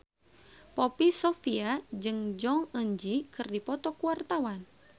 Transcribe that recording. Poppy Sovia jeung Jong Eun Ji keur dipoto ku wartawan